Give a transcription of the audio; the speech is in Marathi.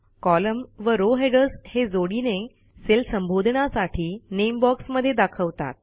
कॉलम व रो हेडर्स हे जोडीने सेल संबोधनासाठी नामे बॉक्स मधे दाखवतात